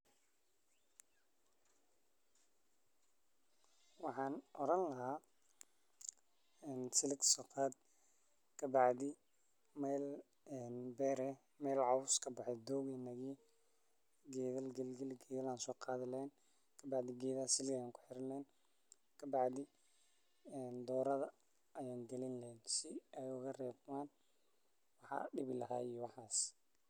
Wacan oran laha silig soqad kabacdi meel ee beer eh cos kabaxe ee dog eh geeda galin ayanso qadhi lehen kabacdina geedaha silig ayan kuxiri lehen kabacdi doradha ayan galin lahen si ee oga rebman maxa dibi lahay waxas.